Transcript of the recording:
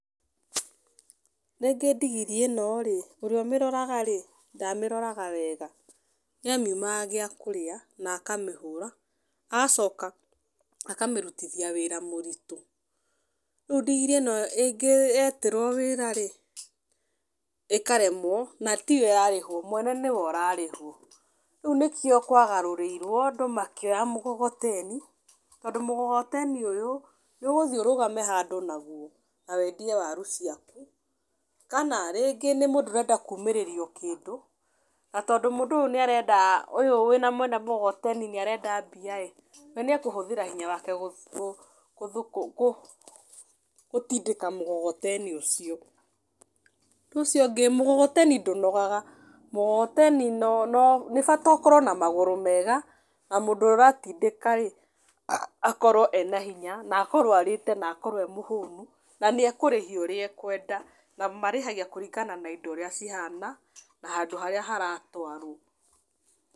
Rĩngĩ ndigiri ĩno rĩ, ũrĩa ũmĩroraga rĩ, ndaamĩroraga wega. Nĩ amiumaga gĩa kũrĩa, na akamĩhũra. Agacoka akamĩrutithia wĩra mũritũ. Rĩu ndigiri ĩno yeterwo wĩra rĩ, ĩkaremwo, na tiyo ĩrarĩhwo, mwene nĩwe ũrarĩhwo. Rĩu nĩkĩo kwagarũrĩirwo, andũ makĩoya mũgogoteni, tondũ mũgogoteni ũyũ, nĩ ũgũthi ũrũgame handũ naguo na wendie waru ciaku. Kana, rĩngĩ nĩ mũndũ ũrenda kumĩrĩrio kĩndũ, na tondũ mũndũ ũyũ nĩ arenda ũyũ wĩna mwene mũgogoteni nĩ arenda mbia ĩĩ, we nĩ ekũhũthĩra hinya wake gũtindĩka mũgogoteni ũcio. Ũcio ũngĩ mũgogoteni ndũnogaga, mũgogoteni no no nĩ bata ũkorwo na magũrũ mega, na mũndũ ũratindĩka ĩĩ, akorwo ena hinya, na akorwo arĩte na akorwo ee mũhũnu. Na nĩ ekũrĩhia ũrĩa ekwenda. Na marĩhagia kũringana na indo ũrĩa cihana, na handũ harĩa haratwarwo.